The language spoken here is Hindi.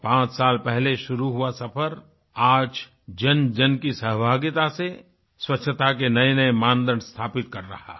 पाँच साल पहले शुरू हुआ सफ़र आज जनजन की सहभागिता से स्वच्छता के नएनए मानदंड स्थापित कर रहा है